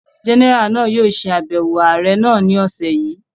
Jẹ́nẹ́rà náà yóò ṣe àbẹ̀wò ààrẹ́ náà ni ọ̀sẹ̀ yìí